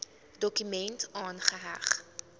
dokument aangeheg